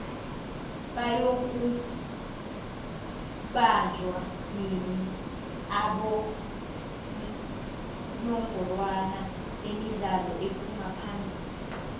bayoku banjoua nini abongorwa bemidlalo ephuma phamili